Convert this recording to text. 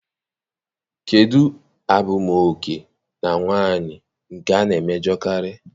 Kedụ abụmoke na nwaanyị nke a na-emejọkarị?